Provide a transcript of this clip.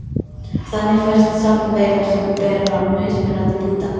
Þannig fæst safn veira sem bera mismunandi búta.